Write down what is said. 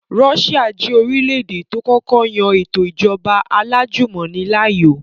Russia jẹ́ orílẹ̀-èdè tó kọ́kọ́ yan ètò ìjọba alájùmọ̀ni láàyò